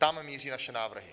Tam míří naše návrhy.